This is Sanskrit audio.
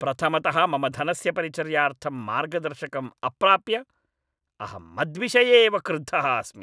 प्रथमतः मम धनस्य परिचर्यार्थम् मार्गदर्शकम् अप्राप्य अहं मद्विषये एव क्रुद्धः अस्मि।